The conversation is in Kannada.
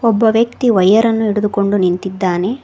ಒಬ್ಬ ವ್ಯಕ್ತಿ ವಾಯರನ್ನು ಹಿಡಿದುಕೊಂಡು ನಿಂತಿದ್ದಾನೆ.